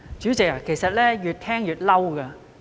主席，其實我越聽越生氣。